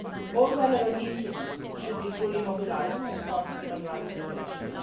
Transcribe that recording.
All relevant instruments should be fully mobilised to respond to human rights violations.